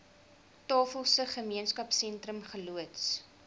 tafelsig gemeenskapsentrum geloods